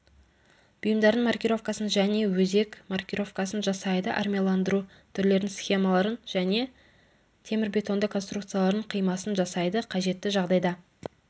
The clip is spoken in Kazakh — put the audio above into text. бұйымдардың маркировкасын және өзек маркировкасын жасайды армияландыру түрлерін схемаларын және темірбетонды конструкциялардың қимасын жасайды қажетті жағдайда